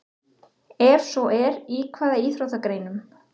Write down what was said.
Ef svo er, í hvaða íþróttagreinum?